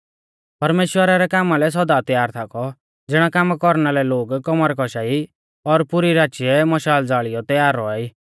परमेश्‍वरा रै कामा लै सौदा तैयार थाकौ ज़िणै कामा कौरना लै लोग कौमर कौशा ई और पुरी राचीऐ मशाल ज़ाल़ियौ तैयार रौआ ई